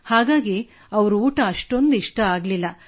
ಹಾಗಾಗಿ ಅವರ ಊಟ ಅಷ್ಟೊಂದು ಇಷ್ಟವಾಗಲಿಲ್ಲ